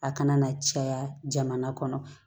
A kana na caya jamana kɔnɔ